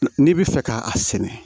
N'i bɛ fɛ ka a sɛnɛ